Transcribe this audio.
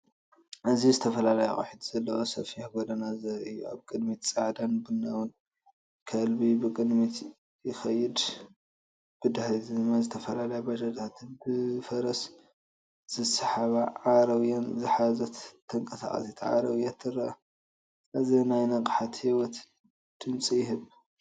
እዚ ዝተፈላለዩ ኣቑሑት ዘለዎ ሰፊሕ ጎደና ዘርኢ እዩ። ኣብ ቅድሚት ጻዕዳን ቡናውን ከልቢ ብቕድሚት ይኸይድ። ብድሕሪት ድማ ዝተፈላለያ ባጃጃት ብፈረስ ዝስሓባ ዓረብያን ዝሓዘት ተንቀሳቓሲት ዓረብያ ትርአ። እዚ ናይ ንቕሓትን ህይወትን ድምጺ ይህብ።